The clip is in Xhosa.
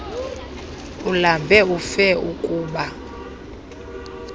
ulambe ufe ukba